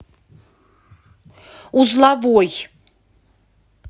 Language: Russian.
узловой